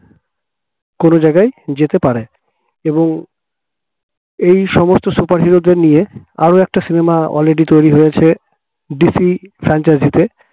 কোন জায়গায় যেতে পারে এবং এই সমস্ত superhero দের নিয়ে আরো একটা সিনেমা already তৈরি হয়েছে DC franchise